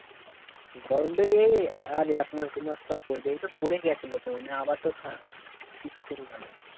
গরম টা এই আর এক মাস দু মাস তোর পরবে এটা তোর পরে গেছেলো তোর আবার তো ঠা শীত পরে গেলো